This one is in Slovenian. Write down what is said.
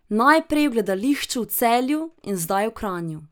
Najprej v gledališču v Celju in zdaj v Kranju.